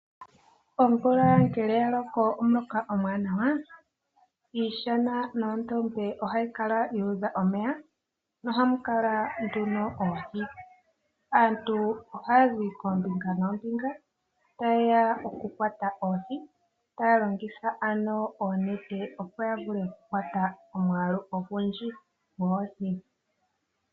Omvula ngele ya loko omuloka omuwanawa iishana noondombe ohayi kala yuudha omeya nohamu kala oohi. Aantu ohaya zi koombinga noombinga ta yeya oku kwata oohi, taya longitha oonete opo yavule oku kwata omwaalu ogundji goohi.